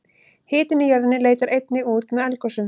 hitinn í jörðinni leitar einnig út með eldgosum